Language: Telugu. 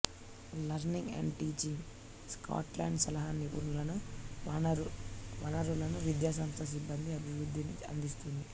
లర్నింగ్ అండ్ టీచింగ్ స్కాట్లాండ్ సలహా నిపుణులను వనరులను విద్యాసంస్థ సిబ్బంది అభివృద్ధిని అందిస్తుంది